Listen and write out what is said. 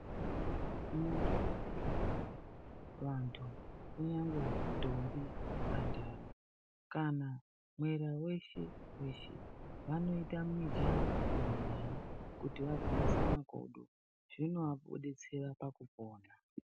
Mundau medu munomu vantu kunyangwe ntombi mhandara kana mwera weshe weshe vanoita mijaho nayo kuti vagwinyise makodo zvinovadetsera pakupona.